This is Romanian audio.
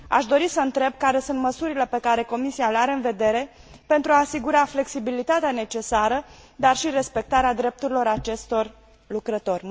Aș dori să întreb care sunt măsurile pe care Comisia le are în vedere pentru a asigura flexibilitatea necesară, dar și respectarea drepturilor acestor lucrători.